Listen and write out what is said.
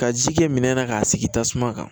Ka ji kɛ minɛn na k'a sigi tasuma kan